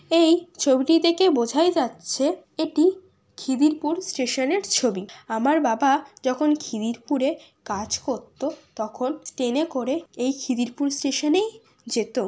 এই ছবিটি দেখে বোঝাই যাচ্ছে এটি খিদিরপুর স্টেশনের ছবি। আমার বাবা যখন খিদিরপুরে কাজ করতো তখন ট্রেনে করে এই খিদিরপুর স্টেশনেই যেত ।